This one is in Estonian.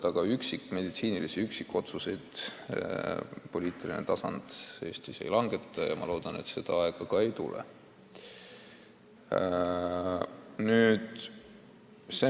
Aga meditsiinilisi üksikotsuseid poliitilisel tasandil Eestis ei langetata ja ma loodan, et seda aega ka ei tule.